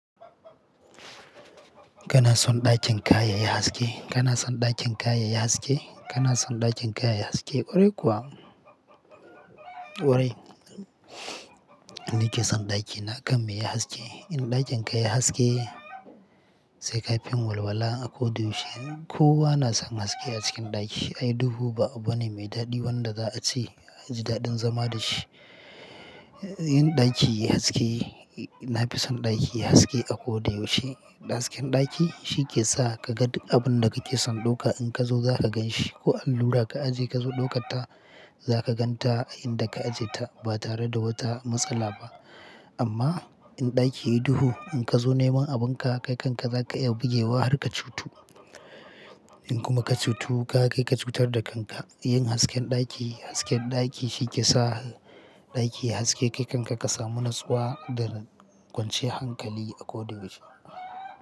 Kana son ɗakin ka yayi haske? Kana son ɗakin ka yayi haske? Kana son ɗakin ka yayi haske? Ƙwarai kuwa? Ƙwarai. Ni ke son ɗaki na kam ya yi haske. In ɗakin ka ya yi haske sai ka fi yin walwala a ko da yaushe. Kowa na son haske a cikin ɗaki. Ai duhu ba abu ne mai daɗi wanda za a ce aji daɗin zama da shi. In ɗaki ya yi haske, na fi son ɗaki ya yi haske akoda yaushe. Hasken ɗaki shi ke sa ka ga duk abun da kake son ɗauka. In ka zo za ka gan shi ko allura ka aje ka zo ɗaukan ta za ka gan ta a inda ka ajiyeta ba tare da wata matsala ba. Amma in ɗaki ya yi duhu in ka zo neman abun ka, kai kanka za ka iya bugewa har ka cutu. In kuma ka cutu, ka kai ka cutar da kanka. Yin hasken ɗaki, hasken ɗaki shi ke sa ɗaki ya yi haske kai kan ka ka samu natsuwa da kwanciyar hankali a ko da yaushe.